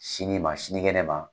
Sini ma sinigɛn kɛnɛ ma